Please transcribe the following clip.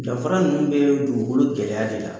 YDanfara ninnu bɛ dugukolo gɛlɛya de la